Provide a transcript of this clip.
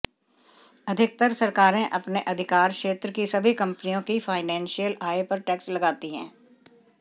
अधिकतर सरकारें अपने अधिकारक्षेत्र की सभी कंपनियों की फाइनेंशियल आय पर टैक्स लगाती हैं